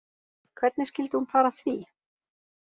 Hvernig skyldi hún fara að því